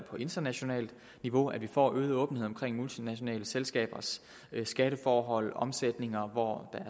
på internationalt niveau at vi får øget åbenhed om multinationale selskabers skatteforhold og omsætninger hvor